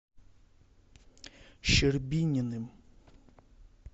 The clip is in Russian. щербининым